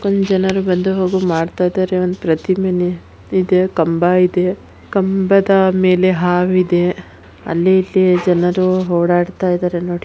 ಅಲ್ಲಿ ಜನರು ಬಂದು ಹೋಗಲು ಮಾಡ್ತಾ ಇದ್ದಾರೆ. ಒಂದು ಪ್ರತಿಮೆ ಇದೆ ಕಂಬ ಇದೆ ಕಂಬದ ಮೇಲೆ ಹಾವಿದೆ ಅಲ್ಲಿ ಜನರು ಓಡಾಡ್ತಾ ಇದ್ದಾರೆ ನೋಡಿ.